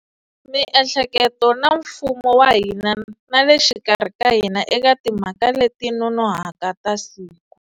Miehleketo na mfumo wa hina na le xikarhi ka hina eka timhaka leti nonohaka ta siku.